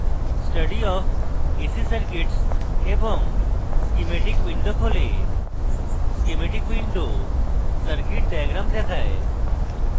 study of ac circuits এবং schematic windows খোলে schematic windows circuits diagram দেখায়